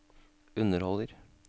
underholder